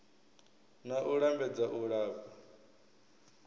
na u lambedza u lafha